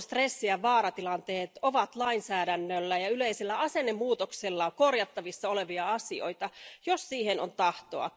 Tarpeeton stressi ja vaaratilanteet ovat lainsäädännöllä ja yleisellä asennemuutoksella korjattavissa olevia asioita, jos siihen on tahtoa.